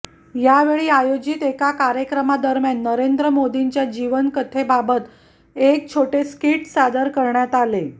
यावेळी आयोजित एका कार्यक्रमादरम्यान नरेंद्र मोदींच्या जीवनकथेबाबत एक छोटे स्किट सादर करण्यात आले